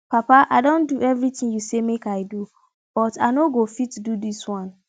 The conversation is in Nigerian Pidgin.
papa i don do everything you say make i do but i no go fit do dis one